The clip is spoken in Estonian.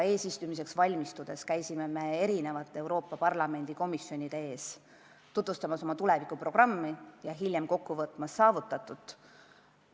Eesistumiseks valmistudes me käisime Euroopa Parlamendi komisjonide ees oma tulevikuprogrammi tutvustamas ja hiljem siis saavutatut kokku võtmas.